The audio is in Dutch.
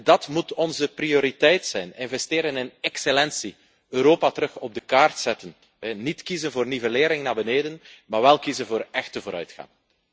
Dat moet onze prioriteit zijn investeren in excellentie, Europa opnieuw op de kaart zetten, niet kiezen voor nivellering naar beneden, maar wel kiezen voor echte vooruitgang.